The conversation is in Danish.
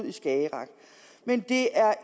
i skagerrak men det er